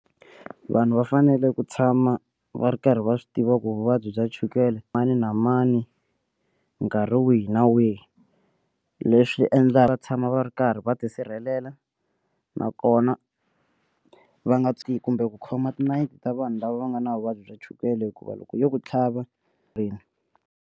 Vanhu va fanele ku tshama va ri karhi va swi tiva ku vuvabyi bya chukele mani na mani nkarhi wihi na wihi leswi endlaka va tshama va va ri karhi va tisirhelela nakona va nga kumbe ku khoma tinayiti ta vanhu lava va nga na vuvabyi bya chukele hikuva loko yo ku tlhava .